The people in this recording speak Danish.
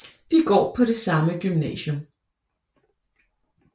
De går på det samme gymnasium